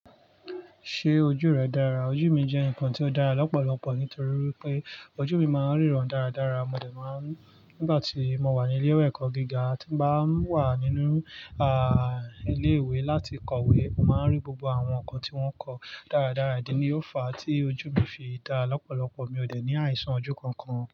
Ṣé ojú rẹ dára? Ojú mi jẹ́ nǹkan tó dára lọ́pọ̀lọpọ̀ nítorí pé ojú mi máa ń ríran dáradára. Mo dẹ̀ máa ń nígbà tí mo wà ní ilé ìwé ẹ̀kọ́ gíga, tí bá ń wà nínú ilé ìwé láti kọ̀we, màá rí gbogbo àwọn nǹkan tí wọ́n ń kọ dáradára. Ìdí ni ó fa tí ojú mi fi dá lọ́pọ̀lọpọ̀. Mi ò dẹ̀ ní àìsàn ojú kankan.